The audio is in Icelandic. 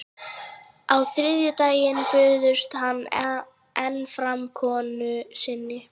Á þriðjudaginn bauðst hann enn fram konu sinni.